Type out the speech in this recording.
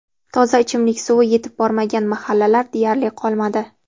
Toza ichimlik suvi yetib bormagan mahallalar deyarli qolmadi.